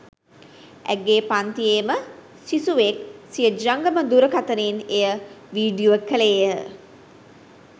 ඇගේ පන්තියේම සිසුවෙක් සිය ජංගම දුරකථනයෙන් එය වීඩියෝ කෙළේය.